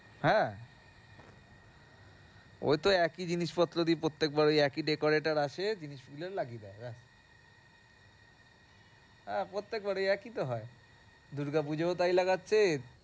হ্যাঁ ওই তো একই জিনিসপত্র দিয়ে প্রত্যেকবার ওই একই decorator আসে, জিনিসগুলো লাগিয়ে দেয় ব্যাস তা প্রত্যেকবার একই তো হয় দূর্গা পুজোও তাই লাগাচ্ছে।